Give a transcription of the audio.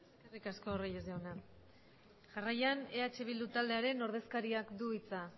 eskerrik asko reyes jauna jarraian eh bildu taldearen ordezkariak du hitza